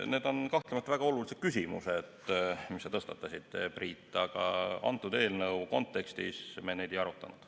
Need on kahtlemata väga olulised küsimused, mis sa tõstatasid, Priit, aga selle eelnõu kontekstis me neid ei arutanud.